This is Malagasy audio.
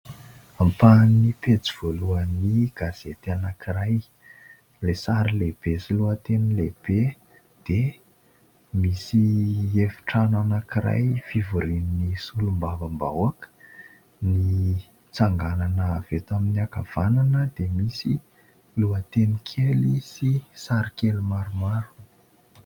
Ampahan'ny pejy voalohan'ny gazety anankiray, ilay sary lehibe sy lohateny lehibe dia misy efitrano anankiray fivorin'ny solombavam-bahoaka; ny tsanganana avy eto amin'ny hankavanana dia misy lohateny kely sy sary kely maromaro.